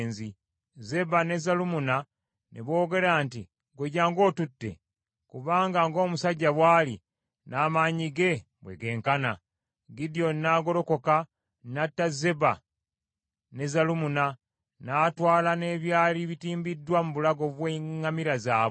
Zeba ne Zalumunna ne boogera nti, “Ggwe jjangu otutte, kubanga ng’omusajja bw’ali, n’amaanyi ge bwe genkana. Gidyoni n’agolokoka n’atta Zeba ne Zalumunna, n’atwala n’ebyali bitimbiddwa mu bulago bw’eŋŋamira zaabwe.”